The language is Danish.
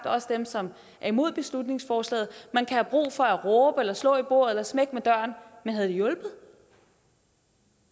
også dem som er imod beslutningsforslaget man kan have brug for at råbe eller slå i bordet eller smække med døren men havde det hjulpet